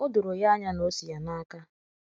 “ O doro ya anya na o si ya n’aka. ”